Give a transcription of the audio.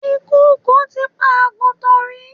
Ìkokò ti pa àgùntàn rí.